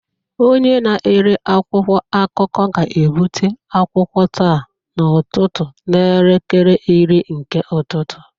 Onye na-ere akwụkwọ akụkọ ga-ebute akwụkwọ taa n'ụtụtụ n'elekere iri nke ụtụtụ